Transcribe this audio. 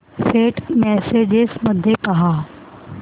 Saint messages मध्ये पहा